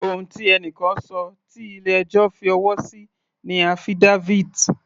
Ohun tí ẹni kan ṣọ tí ilé ẹjọ́ fi ọwọ́ sí ni affidavit.